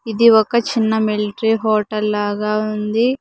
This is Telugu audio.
ఇది ఒక చిన్న మిలిటరీ హోటల్ లాగా ఉంది.